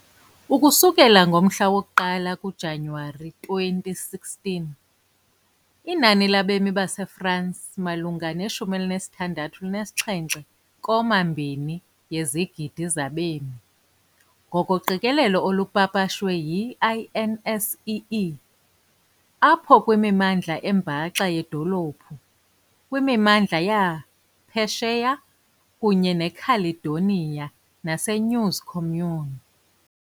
Ukusukela nge-1 kaJanuwari 2016, inani labemi baseFransi malunga ne-67.2 yezigidi zabemi, ngokoqikelelo olupapashwe yi- INSEE, apho i kwimimandla embaxa yedolophu, kwimimandla yaphesheya kunye ne-caledonia nase-News communes .